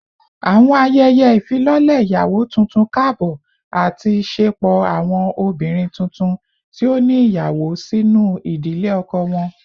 Awọn ayẹyẹ ifilọlẹ iyawo tuntun kaabọ ati ṣepọ awọn obinrin tuntun ti o ni iyawo sinu idile ọkọ wọn